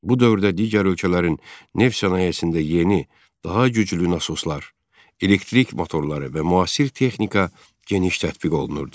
Bu dövrdə digər ölkələrin neft sənayesində yeni, daha güclü nasoslar, elektrik motorları və müasir texnika geniş tətbiq olunurdu.